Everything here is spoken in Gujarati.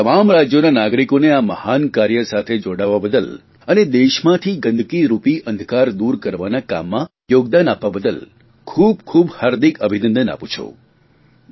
હું આ તમામ રાજયોના નાગરિકોને આ મહાન કાર્ય સાથે જોડાવા બદલ અને દેશમાંથી ગંદકીરૂપી અંધકાર દૂર કરવાના કામમાં યોગદાન આપવા બદલ ખૂબખૂબ હાર્દક અભિનંદન આપું છું